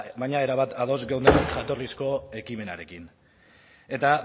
baina erabat ados geunden jatorrizko ekimenarekin eta